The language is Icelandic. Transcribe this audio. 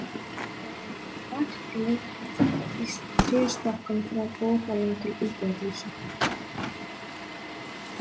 Þar var vatn leitt í tréstokkum frá borholum til íbúðarhúsa.